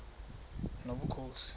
nobukhosi